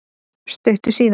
Stuttu síðar